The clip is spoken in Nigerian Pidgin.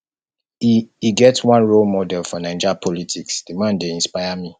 e e get one role model for naija politics di man dey inspire me